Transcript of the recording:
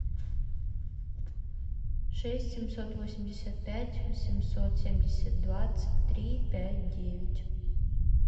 шесть семьсот восемьдесят пять семьсот семьдесят двадцать три пять девять